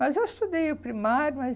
Mas eu estudei o primário, mas...